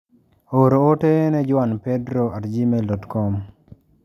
Or ote ne juanpedro@gmail.com.